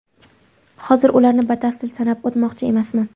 Hozir ularni batafsil sanab o‘tmoqchi emasman.